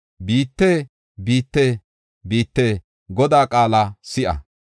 Biitte, biitte, biitte, Godaa qaala si7a!